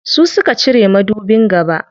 Su suka cire madubin gaba.